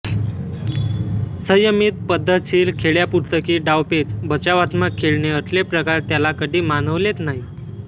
संयमित पद्धतशीर खेळ्या पुस्तकी डावपेच बचावात्मक खेळणे असले प्रकार त्याला कधी मानवलेच नाहीत